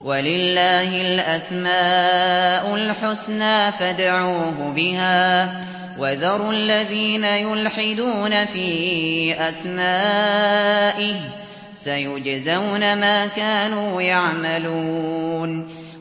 وَلِلَّهِ الْأَسْمَاءُ الْحُسْنَىٰ فَادْعُوهُ بِهَا ۖ وَذَرُوا الَّذِينَ يُلْحِدُونَ فِي أَسْمَائِهِ ۚ سَيُجْزَوْنَ مَا كَانُوا يَعْمَلُونَ